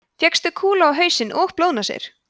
fékkstu kúlu á hausinn og blóðnasir